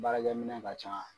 Baarakɛ minɛn ka ca.